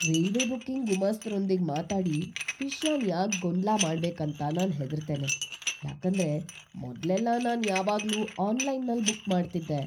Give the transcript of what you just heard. Railway booking ಗುಮಾಸ್ತರೊಂದಿಗ್ ಮಾತಾಡಿ ವಿಷಯನ್ ಯಾಕ್ ಗೊಂದ್ಲ ಮಾಡ್ಬೇಕ್ ಅಂತ ನಾನ್ ಹೆದರ್ತೆನೆ, ಯಾಕಂದ್ರೆ ಮೊದ್ಲೆಲ್ಲಾ ನಾನ್ ಯಾವಾಗ್ಲೂ ಆನ್‌ಲೈನ್‌ನಲ್ ಬುಕ್ ಮಾಡ್ತಿದ್ದೆ.